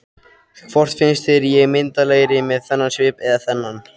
Hvort finnst þér ég myndarlegri með þennan svip eða þennan?